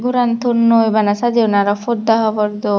goran tonnoi bana sajeunneh aroh porda habor dhon.